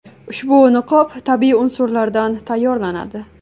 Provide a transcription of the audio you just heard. Ushbu niqob tabiiy unsurlardan tayyorlanadi.